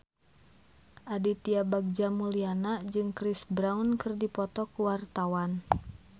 Aditya Bagja Mulyana jeung Chris Brown keur dipoto ku wartawan